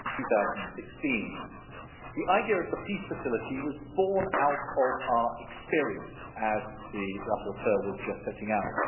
2016. The idea of the Peace Facility was born out of our experience, as the rapporteur was just setting out.